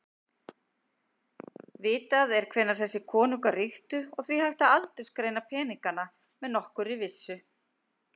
Vitað er hvenær þessir konungar ríktu og því hægt að aldursgreina peningana með nokkurri vissu.